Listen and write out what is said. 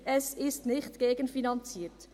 Es ist nicht gegenfinanziert.